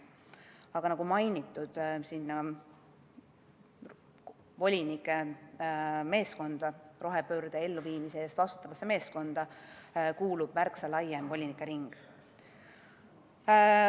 Aga nagu mainitud, sinna volinike meeskonda, rohepöörde elluviimise eest vastutavasse meeskonda kuulub märksa laiem volinikering.